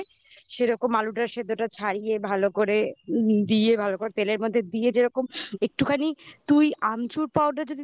সেরকম আলুটা সেদ্ধটা ছাড়িয়ে ভালো করে দিয়ে ভালো করে তেলের মধ্যে দিয়ে যেরকম একটুখানি আমচুর powder যদি দিতে পারিস